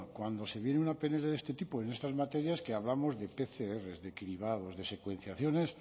cuando se viene una pnl de este tipo en estas materias que hablamos de pcr de cribados de secuenciaciones